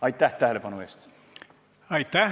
Aitäh tähelepanu eest!